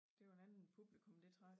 Det var en anden publikum det trak